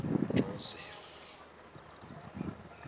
ujosefu